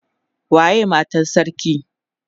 Waye Matan sarki?